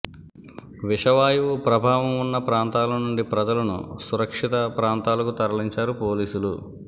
విషవాయువు ప్రభావం ఉన్న ప్రాంతాల నుండి ప్రజలను సురక్షిత ప్రాంతాలకు తరలించారు పోలీసులు